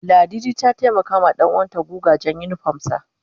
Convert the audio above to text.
Ladidi ta taimaka wa danuwan ta guga jan unipom sa